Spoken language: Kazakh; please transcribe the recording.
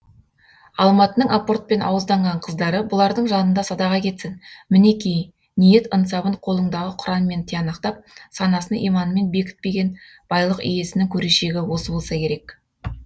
алматының апортпен ауызданған қыздары бұлардың жанында садаға кетсін мінеки ниет ынсабын қолыңдағы құранмен тиянақтап санасын иманмен бекітпеген байлық иесінің көрешегі осы болса керек